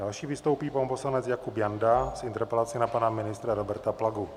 Další vystoupí pan poslanec Jakub Janda s interpelací na pana ministra Roberta Plagu.